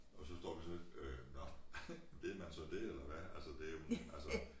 Og så står vi så øh nå ved man så dét eller hvad? Altså det jo altså